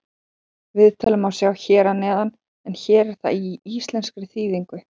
Viðtalið má sjá hér að neðan en hér er það í íslenskri þýðingu.